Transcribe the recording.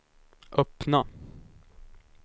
öppna